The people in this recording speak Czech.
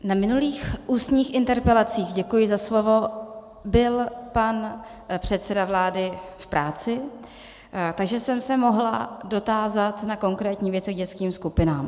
Na minulých ústních interpelacích - děkuji za slovo - byl pan předseda vlády v práci, takže jsem se mohla dotázat na konkrétní věci k dětským skupinám.